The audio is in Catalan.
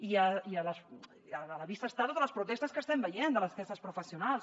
i a la vista estan totes les protestes que estem veient d’aquests professionals